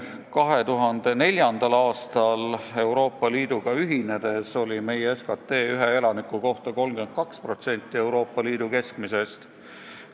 2004. aastal Euroopa Liiduga ühinedes oli meie SKT ühe elaniku kohta 32% Euroopa Liidu keskmisest.